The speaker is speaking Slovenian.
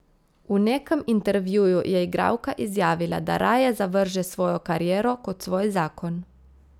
V nekem intervjuju je igralka izjavila, da raje zavrže svojo kariero kot svoj zakon.